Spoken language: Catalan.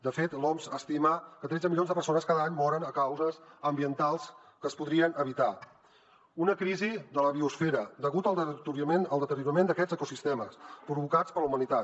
de fet l’oms estima que tretze milions de persones cada any moren per causes ambientals que es podrien evitar una crisi de la biosfera deguda al deteriorament d’aquests ecosistemes provocats per la humanitat